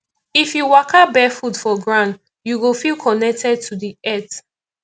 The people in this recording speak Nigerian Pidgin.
if you waka barefoot for ground you go feel connected to di earth